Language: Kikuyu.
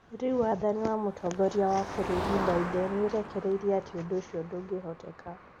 Rĩu wathani wa mũtongoria wa bũrũri Biden nĩũrekereirie atĩ ũndũ ũcio ndũngĩhoteteka